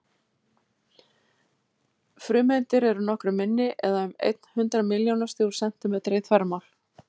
Frumeindir eru nokkru minni, eða um einn hundrað milljónasti úr sentímetra í þvermál.